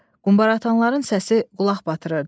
Quümbara atanların səsi qulaq batırırdı.